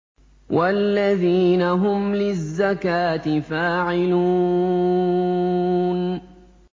وَالَّذِينَ هُمْ لِلزَّكَاةِ فَاعِلُونَ